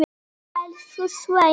Elsku Sveina.